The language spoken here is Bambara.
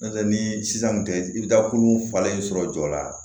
N'o tɛ ni sisan kun tɛ i bɛ taa kolo falen sɔrɔ jɔ la